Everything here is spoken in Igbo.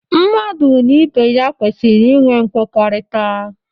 Mmadụ na ibe ya kwesịrị inwe mmekọrịta.